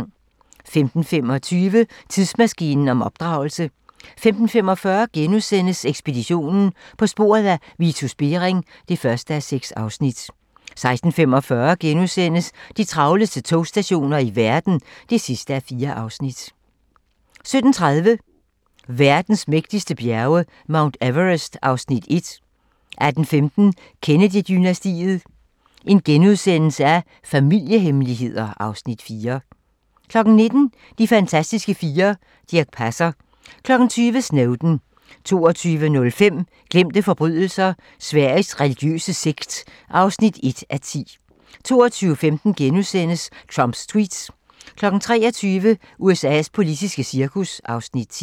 15:25: Tidsmaskinen om opdragelse 15:45: Ekspeditionen - På sporet af Vitus Bering (1:6)* 16:45: De travleste togstationer i verden (4:4)* 17:30: Verdens mægtigste bjerge: Mount Everest (Afs. 1) 18:15: Kennedy-dynastiet - Familiehemmeligheder (Afs. 4)* 19:00: De fantastiske fire: Dirch Passer 20:00: Snowden 22:05: Glemte forbrydelser - Sveriges religiøse sekt (1:10) 22:15: Trumps tweets * 23:00: USA's politiske cirkus (Afs. 10)